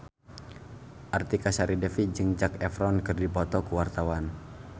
Artika Sari Devi jeung Zac Efron keur dipoto ku wartawan